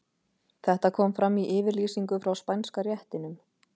Þetta kom fram í yfirlýsingu frá Spænska réttinum.